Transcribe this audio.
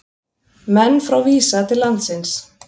Menn frá Visa til landsins